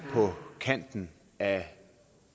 på kanten af